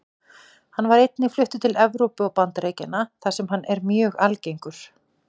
Hann var einnig fluttur til Evrópu og Bandaríkjanna þar sem hann er mjög algengur.